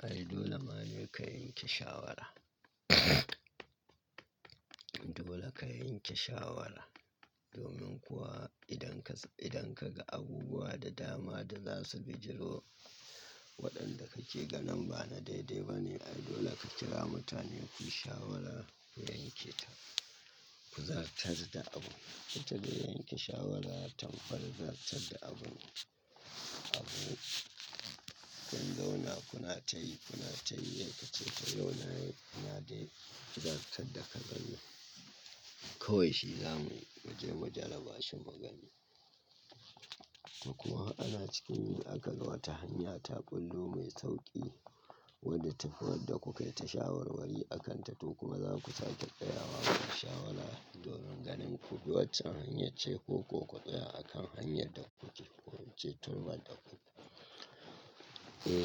Ai dole ma ni ka yanke shawara. Dole ka yanke shawara, domin kuwa idan ka, idan ka ga abubuwa da dama da za su bijiro, waɗanda ka ce ganin ba na daidai ba ne, ai dole ka kira mutane ku yi shawara ku yanke ta. Ku zartar da abun. Ita dai yanke shawara, tana fa'idar da abun, abu. Kun zauna kuna ta yi, kuna ta yi sai ka ce, to yau na, ina dai ku zartar da ka gani. Kowai shi zamu yi mu je mu jarrabashi mugani. To kuwa ana cikin yi aka ga wata hanya ta ɓullo mai sauƙi wadda ta fi wadda kuka yi ta shawarwari akanta. To kuma za ku sace tsayawa aka shawara domin ganin ku wacce hanyar ce ko ko ku tsaya a kan hanyar da kuke ko wacce turman da ku. E,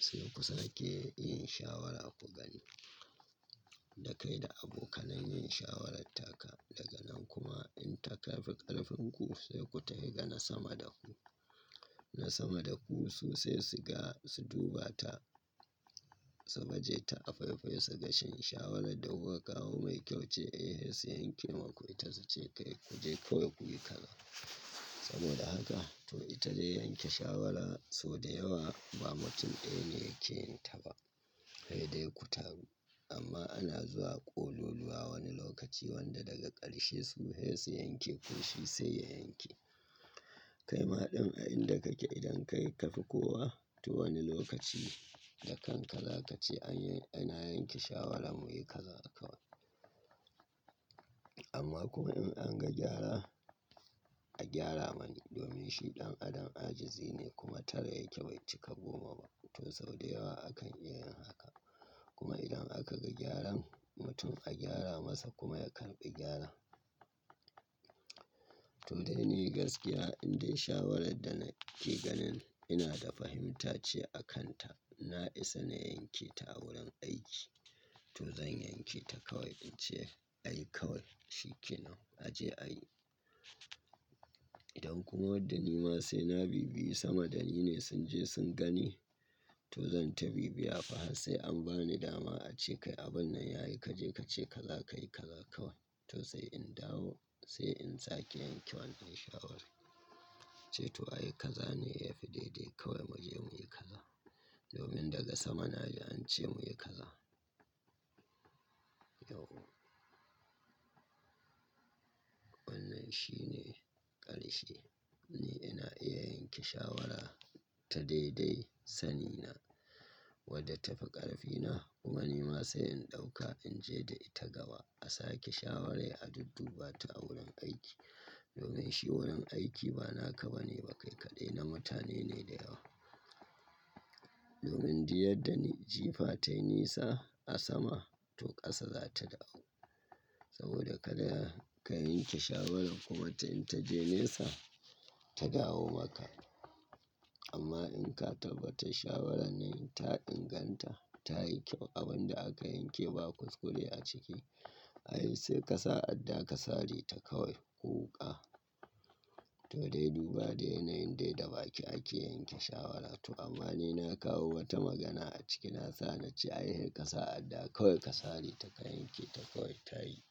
sai ku sake yin shawara ku gani. Da kai da abokanai yin shawarar taka, daga nan kuma in tafi ƙarfin ku sai ku tafi ga na sama da ku. Na sama da ku su sai su ga, su duba ta, su baje ta a faifai su ga shin shawarar da kuka kawo mai kyau ce, eh sai su yanke maku ita su ce kai ku je kawai ku yi kazaa. Saboda haka to ita dai yanke shawara sau da yawa ba mutum ɗaya ne yake yin ta ba, ai dai ku taru. Amma ana zuwa ƙololuwa wani lokaci wanda daga ƙarshe su dai su yanke ƙunci sai ya yanke. Kai ma ɗan ai'n da kake idan kai ka fi kowa, to wani lokaci da kanka za ka ce aina yanke shawara muyi kazaa akai. Amma kuma in an ga gyara, a gyara mani domin shi ɗan adam ajizi ne kuma tara ya ke bai cika goma ba. To sau da yawa akan iya yin haka. Kuma idan aka ga gyaran, mutum a gyara masa kuma ya karɓi gyara. To dai ni gaskiya indai shawarar da nake ganin ina da fahimta ce a kanta, na isa na yanke ta a wurin aiki. To zan yanke ta kawai in ce, ai kawai shi kenan a je a yi. Idan kuma wadda ni ma sai na bibiye sama da ni ne sun je sun gani, to zan ta bibiya fa har sai an ba ni dama a ce kai abun nan ya yi kaje ka ce ka za ka yi kazaa kawai. To sai in dawo, sai in sake yanke wani in shawara. Ce to ai kaza ne ya fi daidai kawai mu je mu yi kaza. Domin daga sama na ji an ce mu yi kaza. Yau. Wannan shine ƙarshe. Ni ina iya yanke shawara ta daidai sani na wadda ta fi ƙarfina, kuma ni ma sai in ɗauka in je da ita gaba a sake shawara a dudduba ta a wurin aiki. Domin shi wurin aiki ba naka ba ne ba kai kaɗai, na mutane ne da yawa. Domin duk yadda ne, jifa ta nesa a sama to ƙasa za ta dawo. Saboda ka da ka yanke shawara kuma ta in ta je nesa, ta dawo maka. Amma in ka tabbata shawarar nan ta inganta, ta yi kyau abun da aka yanke ba kuskure a ciki, ai sai ka sa adda ka sare ta kawai ko wuka. To dai duba dai yanayin dai da baki ake yanke shawara. To amma ni na kawo wata magana a ciki na sa na ce ai sai ka sa adda kawai ka sare ta ka yanke ta kawai ta yi.